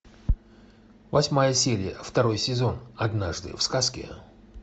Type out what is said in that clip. восьмая серия второй сезон однажды в сказке